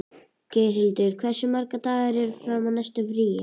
Geirhildur, hversu margir dagar fram að næsta fríi?